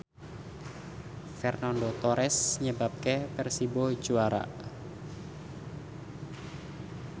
Fernando Torres nyebabke Persibo juara